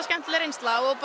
skemmtileg reynsa og